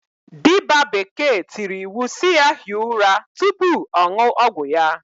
Diba bekee tiri iwu si ya hie ura tupu ọṅụ ọgwụ ya.